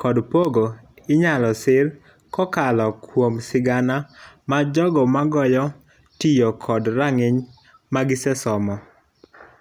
kod pogo inyalo sir kokalo kuom sigana majogo magoyo tiyo kod rang'iny ma gisesomo.